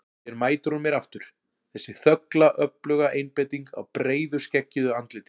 Hér mætir hún mér aftur, þessi þögla öfluga einbeiting á breiðu skeggjuðu andliti.